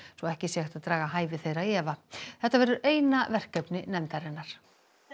svo ekki sé hægt að draga hæfi þeirra í efa þetta verður eina verkefni nefndarinnar